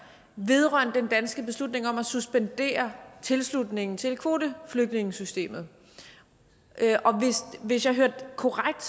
vedrørende den danske beslutning om at suspendere tilslutningen til kvoteflygtningesystemet hvis jeg hørte korrekt